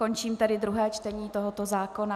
Končím tedy druhé čtení tohoto zákona.